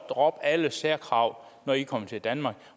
droppe alle særkrav når de kommer til danmark